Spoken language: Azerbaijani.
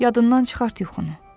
Yadından çıxart yuxunu.